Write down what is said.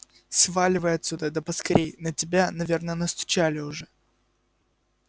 сваливай отсюда да поскорее на тебя наверное настучали уже